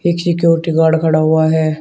एक security guard खड़ा हुआ है।